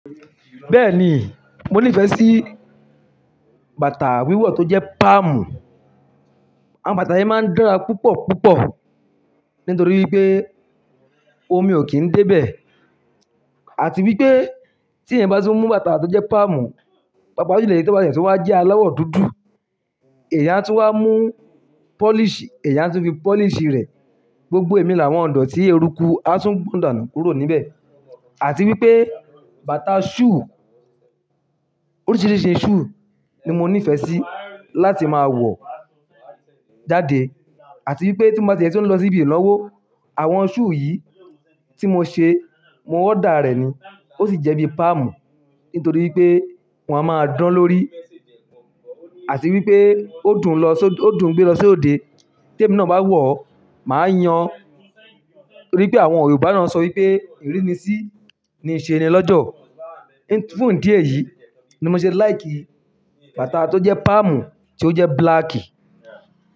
Bẹ́ẹ̀ni, mo nífẹ̀ẹ́ sí bàtà wíwọ̀ tó jẹ́ páàmù. Àwọn bàtà yìí máa ń dára púpọ̀ púpọ̀ nítorí pé omi ò kí ń dé bẹ̀ àti wípé tí èèyàn bá ti mú bàtà tó jẹ́ páàmù, bápa jùlo ètí ọba yẹn sì wá jẹ́ aịawọ́ dúdú. Èèyàn tún wá mú pọ́líṣì, èèyàn tún fi pọ́líṣì rẹ̀ gbogbo ẹ̀mí làwọn ìdọ́tí eruku á tún gbọ̀n danù kúrò níbẹ̀. Àti wípé bàtà shùù, oríṣiríṣi shùù ni mo nífẹ̀ẹ́ sí láti máa wọ̀ jáde àti wípé tí mo bá tiẹ̀ tún ń lọ sí ibi ìnáwó, àwọn shùù yìí tí mo ṣe, mo ọ́dà rẹ̀ ni. Ó sì jẹ́ bíi páàmù nítorí pé wọ́n a máa dán lórí àti wípé ó dùn lọ só-- ó dùn gbé lọ sóde. Tí ẹ̀mí náà bá wọ̀, màá yàn nítorí pé àwọn Yorùbá náà sọ wípé ìrínisí ni ìṣe'ni lọ́jọ̀. Ní funfún ìdí èyí ni mo ṣe like bàtà tó jẹ́ páàmù, tí ó jẹ́ búláákì.